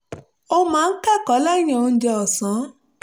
ó máa ń kẹ́kọ̀ọ́ lẹ́yìn oúnjẹ ọ̀sán